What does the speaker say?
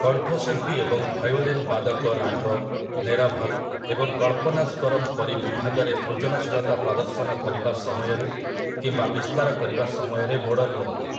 କଣ୍ଠଶିଳ୍ପୀ ଏବଂ ଭାୟୋଲିନ୍ ବାଦକ ରାଗ, ନେରଭଲ୍ ଏବଂ କଳ୍ପନାଶ୍ୱରମ୍ ପରି ବିଭାଗରେ ସୃଜନଶୀଳତା ପ୍ରଦର୍ଶନ କରିବା ସମୟରେ କିମ୍ବା ବିସ୍ତାର କରିବା ସମୟରେ ମୋଡ଼ ନିଅନ୍ତି ।